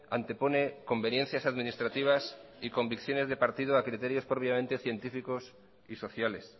antepone conveniencias administrativas y convicciones de partido a criterios propiamente científicos y sociales